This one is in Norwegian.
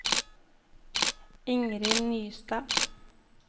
Ingrid Nystad